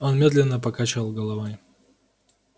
он медленно покачал головой